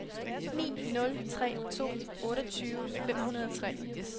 ni nul tre to otteogtyve fem hundrede og tre